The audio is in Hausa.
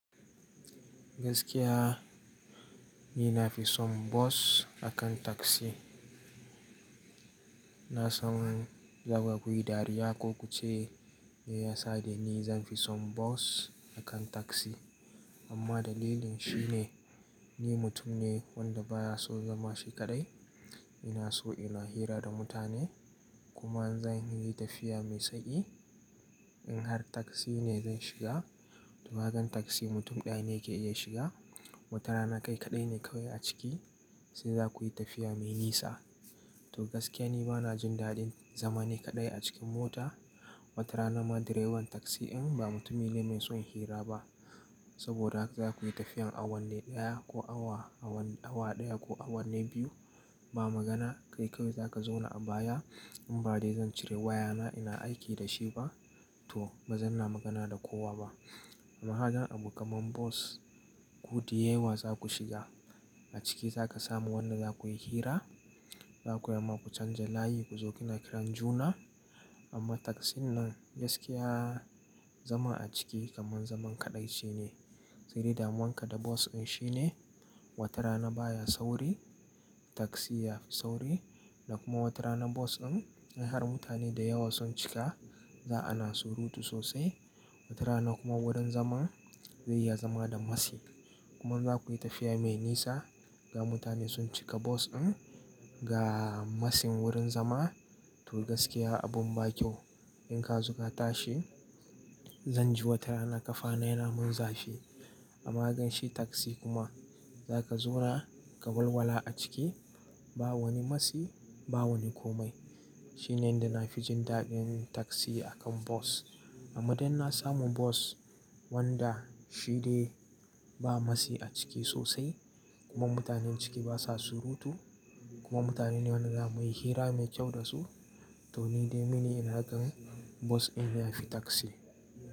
Gaskiya ni na fi son bus akan taksi. Na san za ku iya ku yi dariya ko ku ce me ya sa dai ni zan fi son bus akan taksi. Amma dalilin shi ne ni mutum ne wanda baya so zama shi kaɗai. Ina so ina hira da mutane kuma zan yi tafiya mai sa'i. In har taksi ne zan shiga toh kagan taksi mutum ɗaya ne yake iya shiga. Watarana kai kaɗai ne kawai a ciki sai za ku yi tafiya mai nisa. Toh gaskiya ni bana jin daɗin zama ni kaɗai a cikin mota. Watarana ma direban taksi in ba mutum ne mai son hira ba saboda za ku yi tafiyan awanne ɗaya ko awa, awa ɗaya ko awanne biyu ba magana kai kawai za ka zauna a baya. In ba dai zan cire wayana ina aiki da shi ba toh bazan na magana da kowa ba. Amma kagan abu kaman bus ku da yawa za ku shiga a ciki za ka samu wanda za ku yi hira. Za ku iya ma ku canja layi ku zo kuna kiran juna. Amma taksin nan gaskiya zama a ciki kaman zaman kaɗai ce ne. Sai dai damuwanka da bus din shine watarana baya sauri, taksi ya fi sauri da kuma watarana bus din in har mutane da yawa sun cika za ana surutu sosai. Watarana kuma wurin zama zai iya zama da matsi kuma za ku yi tafiya mai nisa ga mutane sun cika bus din ga matsin wurin zama. Toh gaskiya abun ba kyau. In ka zo ka tashi zan ji watarana ƙafa na yana mun zafi. Amma ganshi taksi kuma za ka zauna ka walwala a ciki ba wani matsin ba wani komai. Shine inda na fi jin daɗin taksi akan bus. Amma dai ina samu bus wanda shi dai ba matsi a ciki sosai kuma mutanen ciki basa surutu kuma mutane ne wanda zamuyi hira mai kyau da su toh ni dai mini in hakan bus din ya fi taksi.